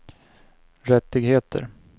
rättigheter